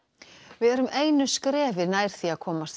við erum einu skrefi nær því að komast